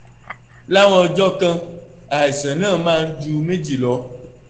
láwọn ọjọ́ kan àìsàn náà máa ń ju méjì lọ